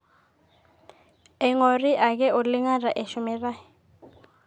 eing'ori ake oleng ata eshumitai